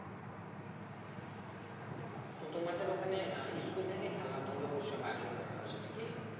তো তোমাদের ওখানে আহ school থেকে খেলা ধুলো সব আয়োজন করা হয়েছে নাকি?